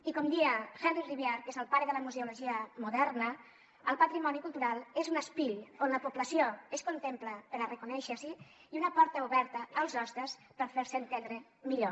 i com deia henri rivière que és el pare de la museologia moderna el patrimoni cultural és un espill on la població es contempla per a reconèixer s’hi i una porta oberta als hostes per fer se entendre millor